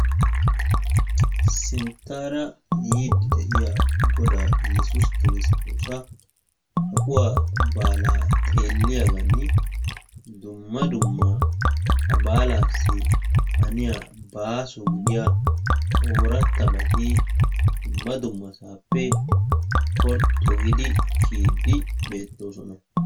Sinttaara yiidi deiya godaa Yesusi Kiristosa kaquwa baala xeeliyaagan dumma dumma ha baalaassi haniya baaso gidiya orattabati dumma dummasaappe porxxu giidi kiyidi beettoosona.